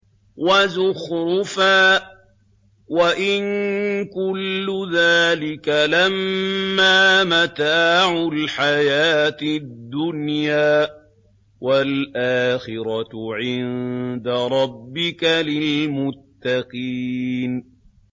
وَزُخْرُفًا ۚ وَإِن كُلُّ ذَٰلِكَ لَمَّا مَتَاعُ الْحَيَاةِ الدُّنْيَا ۚ وَالْآخِرَةُ عِندَ رَبِّكَ لِلْمُتَّقِينَ